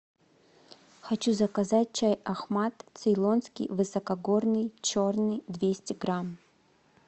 хочу заказать чай ахмад цейлонский высокогорный черный двести грамм